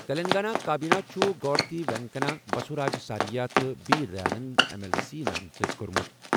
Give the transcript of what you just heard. تیٚلنٛگانہ کابینہِ چُھ گورتی وینکنا، بسوراج سارِیا تہٕ بی دیاننٛدَن ایم ایل سی نامزد کوٚرمُت۔